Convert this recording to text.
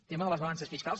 tema de les balances fiscals